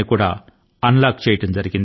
ఈ రంగాన్ని కూడా ప్రస్తుతం అన్ లాక్ చేయడమైంది